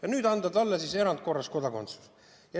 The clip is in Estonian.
Aga nüüd tuleb anda talle erandkorras kodakondsus.